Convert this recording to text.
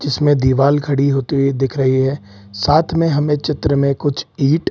जिसमें दीवाल खड़ी होती हुई दिख रही है। साथ में हमें चित्र में कुछ ईंट --